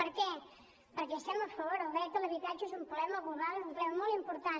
per què perquè hi estem a favor el dret a l’habitatge és un problema global és un problema molt important